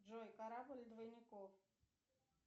джой корабль двойников